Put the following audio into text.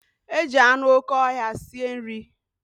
Eji anụ okè ọhịa sie nri.